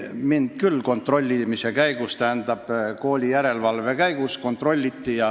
Mind küll kooli järelevalve käigus kontrolliti.